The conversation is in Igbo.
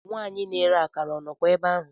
Nwanyị na-ere akara o ka nọkwa ebe ahụ?